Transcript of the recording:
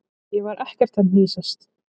Ég var ekkert að hnýsast.